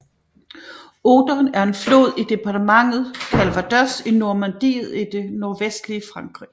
Odon er en flod i departementet Calvados i Normandiet i det nordvestlige Frankrig